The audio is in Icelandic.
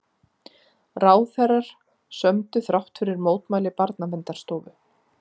Ráðherrar sömdu þrátt fyrir mótmæli Barnaverndarstofu